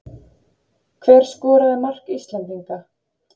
Hver skoraði mark Íslendinga?